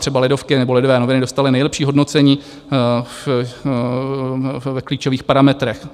Třeba Lidovky nebo Lidové noviny dostaly nejlepší hodnocení v klíčových parametrech.